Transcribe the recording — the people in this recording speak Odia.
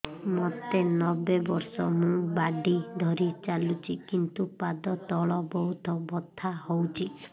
ମୋତେ ନବେ ବର୍ଷ ମୁ ବାଡ଼ି ଧରି ଚାଲୁଚି କିନ୍ତୁ ପାଦ ତଳ ବହୁତ ବଥା ହଉଛି